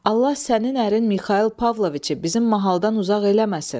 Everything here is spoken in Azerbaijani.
Allah sənin ərin Mixail Pavloviçi bizim mahaldan uzaq eləməsin.